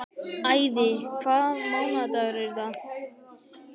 Ævi, hvaða mánaðardagur er í dag?